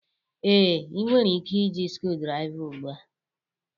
Ee, ị nwere ike iji screwdriver ugbu a